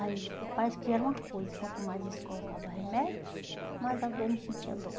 Aí parece que era uma coisa, quanto mais eles colocavam remédio, mais a dor não sentia dor.